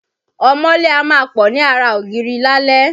Ọmọọ́lé a máa pọ̀ ni ara ògíri lálé.